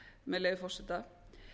með leyfi forseta